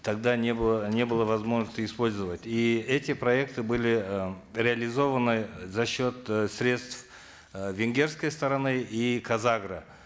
тогда не было не было возможности использовать и эти проекты были э реализованы за счет средств э венгерсокй стороны и казагро